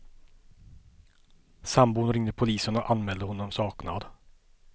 Sambon ringde polisen och anmälde honom saknad.